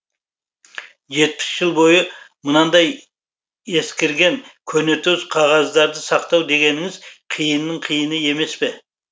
жетпіс жыл бойы мынадай ескірген көнетоз қағаздарды сақтау дегеніңіз қиынның қиыны емес пе